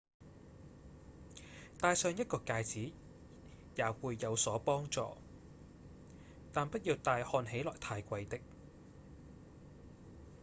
戴上一個戒指也會有所幫助但不要戴看起來太貴的